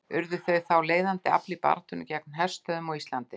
Urðu þau þá þegar leiðandi afl í baráttunni gegn herstöðvum á Íslandi.